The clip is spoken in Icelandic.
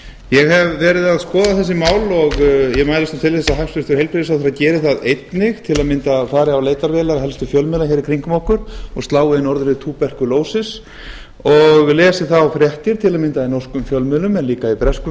ég hef verið að skoða þessi mál og ég mælist til þess að hæstvirtur heilbrigðisráðherra geri það einnig til að mynda fari á leitarvélar helstu fjölmiðla í kringum okkur og slái inn orðið tuberku lesi og lesi þá fréttir til að mynda í norskum fjölmiðlum en líka í breskum